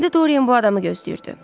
İndi Dorian bu adamı gözləyirdi.